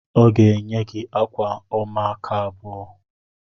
Ọ ga-enye gị akwa ọma aka abụọ